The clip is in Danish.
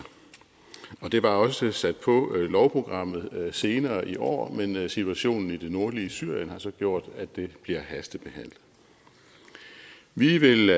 det var også sat på lovprogrammet senere i år men situationen i det nordlige syrien har så gjort at det bliver hastebehandlet vi vil